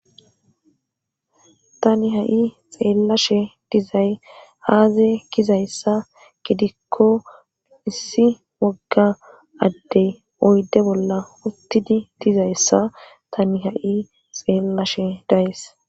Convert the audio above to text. tani ha7i xeellashe dizay aaze kizayssa gidikko issi wogga addey oyde bolla uttidi dizayssa tani ha7i xeellashe days